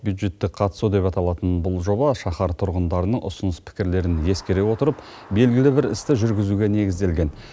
бюджеттік қатысу деп аталатын бұл жоба шахар тұрғындарының ұсыныс пікірлерін ескере отырып белгілі бір істі жүргізуге негізделген